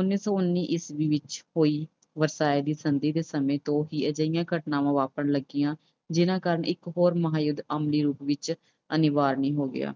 ਉਨੀ ਸੌ ਉਨੀ ਈਸਵੀ ਵਿੱਚ ਹੋਈ ਵਰਸਾਏ ਦੀ ਸੰਧੀ ਦੇ ਸਮੇਂ ਤੋਂ ਹੀ ਅਜਿਹੀਆਂ ਘਟਨਾਵਾਂ ਵਾਪਰਨ ਲੱਗੀਆਂ ਜਿਨ੍ਹਾਂ ਕਾਰਨ ਇੱਕ ਹੋਰ ਮਹਾਂਯੁੱਧ ਯੁੱਗ ਵਿੱਚ ਅਨਿਵਾਰਿਆ ਹੋ ਗਿਆ